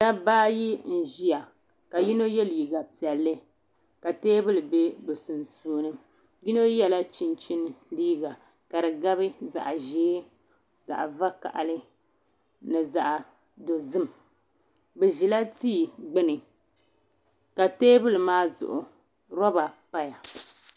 Daba ayi n ziya ka yino yiɛ liiga piɛlli ka tɛɛbuli bɛ bi sunsuuni yino yiɛla Chinchina liiga ka di gabi zaɣi ʒɛɛ zaɣi vakahili ni zaɣi dozim bi zila tii gbuni ka tɛɛbuli maa Zuɣu rɔɔba. paya.